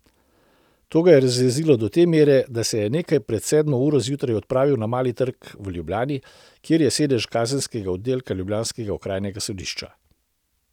To ga je razjezilo do te mere, da se je nekaj pred sedmo uro zjutraj odpravil na Mali trg v Ljubljani, kjer je sedež kazenskega oddelka ljubljanskega okrajnega sodišča.